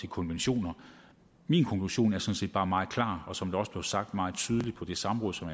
konventioner min konklusion er sådan set bare meget klar og som det også blev sagt meget tydeligt på det samråd som